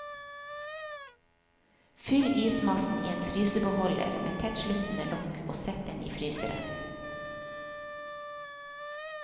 Fyll ismassen i en frysebeholder med tettsluttende lokk og sett den i fryseren.